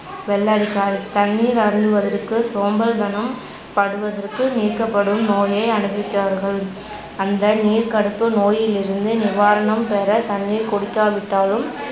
வெள்ளரிக்காய் தண்ணீர் அருந்துவதற்கு சோம்பல்தனம் படுவதற்கு நீக்கப்படும் நோயே அனுபிச்சார்கல் அந்த நீர்கடுப்பு நோயில் இருந்து நிவாரணம் பெற தண்ணீர் குடிக்காவிட்டாலும்